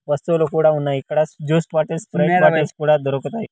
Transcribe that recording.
వస్తువులు కూడా ఉన్నాయి ఇక్కడ జ్యూస్ బాటిల్స్ స్ప్రైట్ బాటిల్స్ కూడ దొరుకుతాయి.